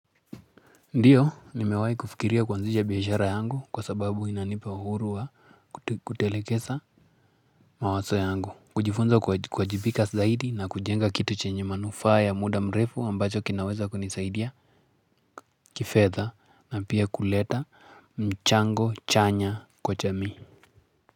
Ndiyo nimewahi kufikiria kuanzisha biashara yangu kwa sababu inanipa uhuru wa kutelekesa mawazo yangu kujifunza kuwajibika zaidi na kujenga kitu chenye manufaa ya muda mrefu ambacho kinaweza kunisaidia kifedha na pia kuleta mchango chanya kwa jamii.